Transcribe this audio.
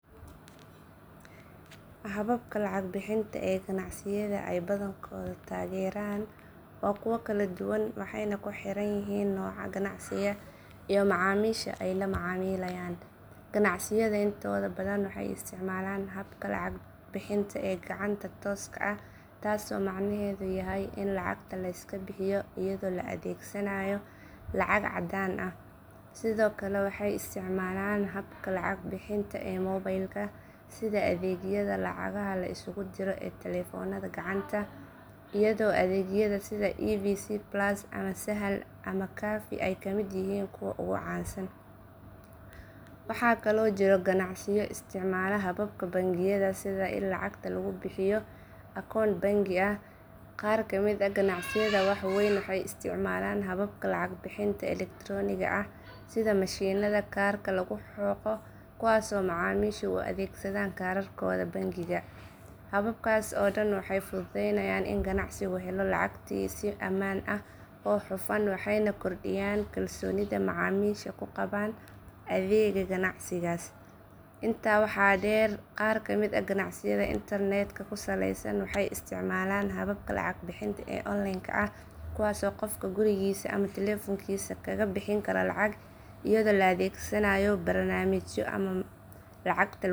Hababka lacag bixinta ee ganacsiyada ay badankoodu tageeraan waa kuwo kala duwan waxayna ku xiran yihiin nooca ganacsiga iyo macaamiisha ay la macaamilayaan. Ganacsiyada intooda badan waxay isticmaalaan habka lacag bixinta ee gacanta tooska ah taasoo macnaheedu yahay in lacagta la iska bixiyo iyadoo la adeegsanayo lacag caddaan ah. Sidoo kale waxay isticmaalaan habka lacag bixinta ee mobilka sida adeegyada lacagaha la isugu diro ee taleefoonada gacanta iyadoo adeegyada sida evc plus ama sahal ama kaafi ay ka mid yihiin kuwa ugu caansan. Waxaa kaloo jira ganacsiyo isticmaala hababka bangiyada sida in lacagta lagu bixiyo akoon bangi. Qaar ka mid ah ganacsiyada waa weyn waxay isticmaalaan hababka lacag bixinta elektarooniga ah sida mashiinnada kaarka lagu xoqo kuwaasoo macaamiishu u adeegsadaan kaararkooda bangiga. Hababkaas oo dhan waxay fududeeyaan in ganacsigu helo lacagtiisa si ammaan ah oo hufan waxayna kordhiyaan kalsoonida macaamiisha ku qabaan adeegga ganacsigaas. Intaa waxaa dheer, qaar ka mid ah ganacsiyada internetka ku saleysan waxay isticmaalaan hababka lacag bixinta ee online ah kuwaasoo qofku gurigiisa ama taleefoonkiisa kaga bixin karo lacag iyadoo la adeegsanayo barnaamijyo ama mareegaha lacagta lagu bixiyo. Hababkan kala duwan ee lacag bixinta ah waxay muujinayaan sida teknolojiyadda iyo baahida macaamiisha isugu biirsadeen si loo helo adeeg deg deg ah oo fudud.